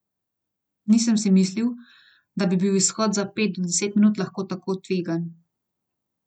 Nisem si mislil, da bi bil izhod za pet do deset minut lahko tako tvegan.